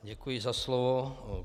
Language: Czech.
Děkuji za slovo.